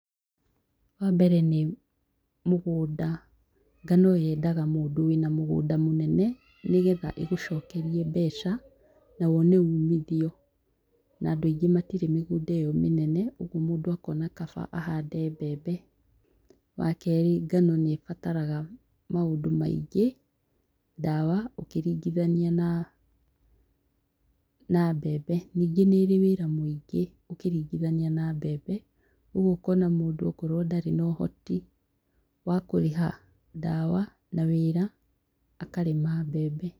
Wa mbere nĩ mũgũnda, ngano yendaga mũndũ wĩna mũgũnda mũnene nĩgetha ĩgũcokerie mbeca na wone umithio na andũ aingĩ matire mĩgũnda ĩyo mĩnene ũguo mũndũ akona kaba ahande mbembe. Wa kerĩ ngano nĩbataraga maũndũ maingĩ ndawa, ũkĩringithania na mbembe. Ningĩ nĩrĩ wĩra mũingĩ ũkĩringithania na mbembe rĩu ũkona mũndũ akorwo ndarĩ na ũhoti wa kũrĩha ndawa na wĩra akarĩma mbembe.